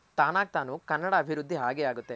ತಾನಾಗ್ ತಾನು ಕನ್ನಡ ಅಭಿವೃದ್ದಿ ಆಗೇ ಆಗುತ್ತೆ.